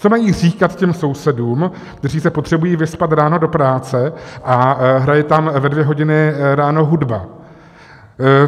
Co mají říkat těm sousedům, kteří se potřebují vyspat ráno do práce, a hraje tam ve dvě hodiny ráno hudba?